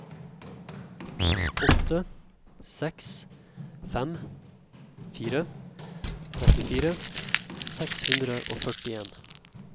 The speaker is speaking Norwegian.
åtte seks fem fire trettifire seks hundre og førtien